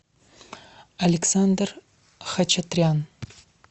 александр хачатрян